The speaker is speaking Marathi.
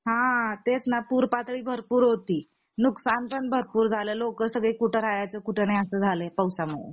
हा तेचना पूर पातळी भरपूर होती नुकसान पण भरपूर झाला लोक सगळी कुठं राहायचं कुठं नाही असं झाला पावसामुळे